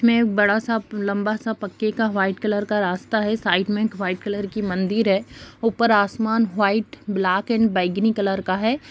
में एक बड़ा सा लम्बा सा पक्के का वाइटट कलर का रास्ता है। साइड में एक वाइटट कलर की मंदिर है ऊपर आसमान वाइटट ब्लैक एंड बैंगनी कलर का है।